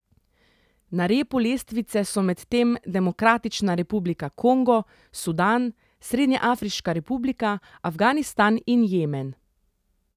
Na repu lestvice so medtem Demokratična republika Kongo, Sudan, Srednjeafriška republika, Afganistan in Jemen.